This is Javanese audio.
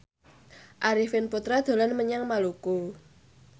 Arifin Putra dolan menyang Maluku